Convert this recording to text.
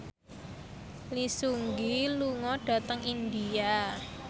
Lee Seung Gi lunga dhateng India